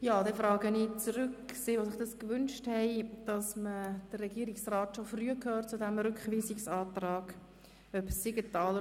Dann frage ich diejenigen, die sich gewünscht haben, dass man den Regierungsrat schon früh zu diesem Rückweisungsantrag anhört: